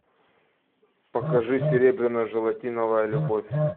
покажи серебряно желатиновая любовь